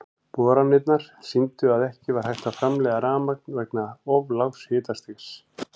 Boranirnar sýndu að ekki var hægt að framleiða rafmagn vegna of lágs hitastigs.